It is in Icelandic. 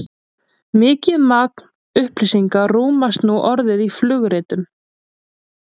mikið magn upplýsinga rúmast nú orðið í flugritum